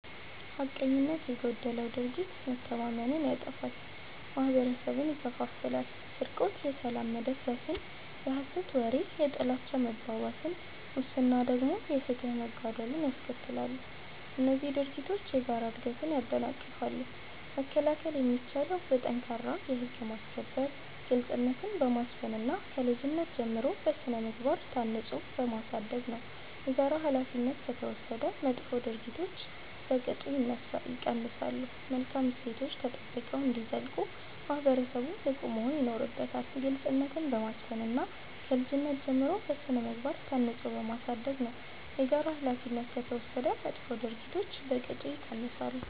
ሐቀኝነት የጎደለው ድርጊት መተማመንን ያጠፋል፤ ማህበረሰብን ይከፋፍላል። ስርቆት የሰላም መደፍረስን፣ የሐሰት ወሬ የጥላቻ መባባስን፣ ሙስና ደግሞ የፍትህ መጓደልን ያስከትላሉ። እነዚህ ድርጊቶች የጋራ እድገትን ያደናቅፋሉ። መከላከል የሚቻለው በጠንካራ የህግ ማስከበር፣ ግልጽነትን በማስፈን እና ከልጅነት ጀምሮ በሥነ-ምግባር ታንጾ በማሳደግ ነው። የጋራ ኃላፊነት ከተወሰደ መጥፎ ድርጊቶች በቅጡ ይቀንሳሉ። መልካም እሴቶች ተጠብቀው እንዲዘልቁ ማህበረሰቡ ንቁ መሆን ይኖርበታል። ግልጽነትን በማስፈን እና ከልጅነት ጀምሮ በሥነ-ምግባር ታንጾ በማሳደግ ነው። የጋራ ኃላፊነት ከተወሰደ መጥፎ ድርጊቶች በቅጡ ይቀንሳሉ።